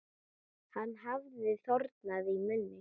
Hann hafði þornað í munni.